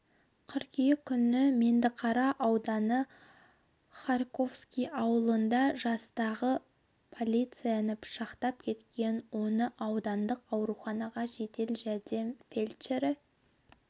қыркүйек күні меңдіқара ауданы харьковский ауылында жастағы полицияны пышақтап кеткен оны аудандық ауруханаға жедел жәрдем фельдшері